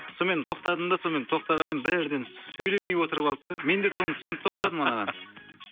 сонымен тоқтадым да сонымен тоқтаған едім бірден сөйлемей отырып алды да менде соны түсініп тоқтадым анаған